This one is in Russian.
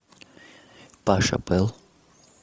паша пэл